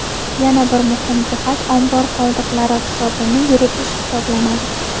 Yana bir muhim jihat ombor qoldiqlari hisobini yuritish hisoblanadi.